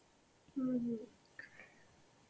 হম হম